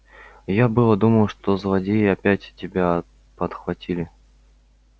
я было думал что злодеи опять тебя подхватили